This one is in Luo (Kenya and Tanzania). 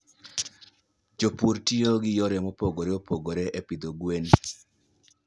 Jopur tiyo gi yore mopogore opogore e pidho gwen.